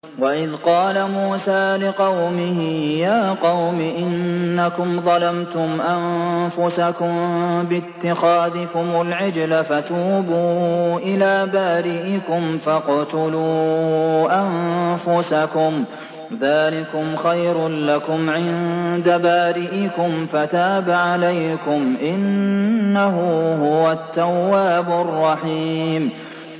وَإِذْ قَالَ مُوسَىٰ لِقَوْمِهِ يَا قَوْمِ إِنَّكُمْ ظَلَمْتُمْ أَنفُسَكُم بِاتِّخَاذِكُمُ الْعِجْلَ فَتُوبُوا إِلَىٰ بَارِئِكُمْ فَاقْتُلُوا أَنفُسَكُمْ ذَٰلِكُمْ خَيْرٌ لَّكُمْ عِندَ بَارِئِكُمْ فَتَابَ عَلَيْكُمْ ۚ إِنَّهُ هُوَ التَّوَّابُ الرَّحِيمُ